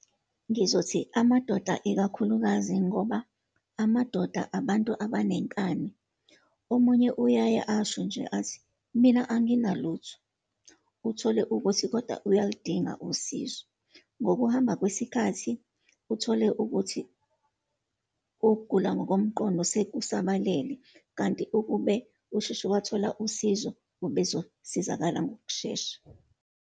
Ngizothi amadoda ikakhulukazi, ngoba amadoda abantu abanenkani. Omunye uyaye asho nje athi, mina anginalutho, uthole ukuthi kodwa uyaludinga usizo. Ngokuhamba kwesikhathi uthole ukuthi ukugula ngokomqondo sekusabalele, kanti ukube usheshe wathola usizo, ubezosizakala ngokushesha.